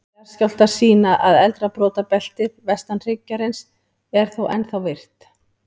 Jarðskjálftar sýna að eldra brotabeltið, vestan hryggjarins, er þó ennþá virkt.